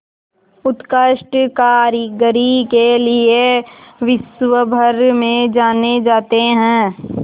उत्कृष्ट कारीगरी के लिये विश्वभर में जाने जाते हैं